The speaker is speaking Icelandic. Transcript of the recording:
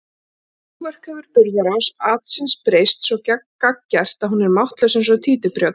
próförk hefur burðarás atsins breyst svo gagngert að hún er máttlaus eins og títuprjónn.